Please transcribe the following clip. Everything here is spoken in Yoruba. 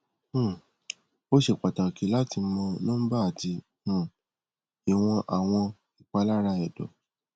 um o ṣe pataki lati mọ nọmba ati um iwọn awọn ipalara ẹdọ